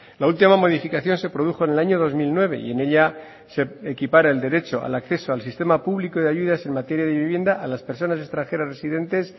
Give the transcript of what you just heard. la última modificación se produjo en elaño dos mil nueve y en ella se equipara el derecho al acceso al sistema público de ayudas en materia de vivienda a las personas extranjeras residentes